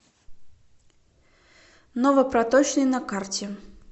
новопроточный на карте